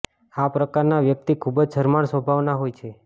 આ પ્રકારના વ્યક્તિ ખૂબ જ શરમાળ સ્વભાવના હોય છે